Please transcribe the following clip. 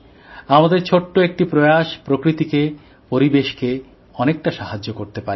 আমাদের ছোট্ট একটি প্রয়াস প্রকৃতিকে পরিবেশকে অনেকটা সাহায্য করতে পারে